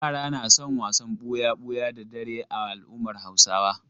Yara na son wasan ɓuya-buya da dare a al'ummar Hausawa.